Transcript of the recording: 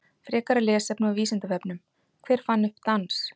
Frekara lesefni á Vísindavefnum: Hver fann upp dans?